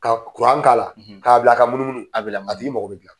Ka kuran k'a la, k'a bila ka munumunu, a b'i lamunumunu, a tigi mako be dilan.